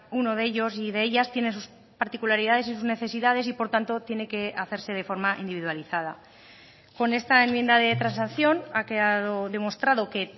uno de ellos y de ellas tiene sus particularidades y sus necesidades y por tanto tiene que hacerse de forma individualizada con esta enmienda de transacción ha quedado demostrado que